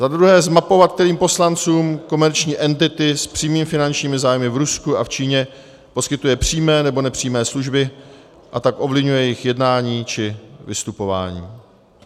Za druhé zmapovat, kterým poslancům komerční entity s přímými finančními zájmy v Rusku a v Číně poskytuje přímé nebo nepřímé služby, a tak ovlivňuje jejich jednání či vystupování.